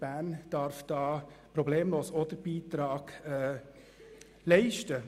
Bern darf da problemlos auch seinen Beitrag leisten.